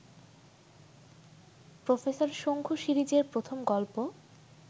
professor Shonku সিরিজের প্রথম গল্প